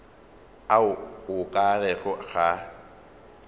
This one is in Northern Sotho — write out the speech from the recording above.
a o ka rego ga